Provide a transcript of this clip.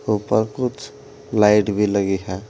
ऊपर कुछ लाइट भी लगी है।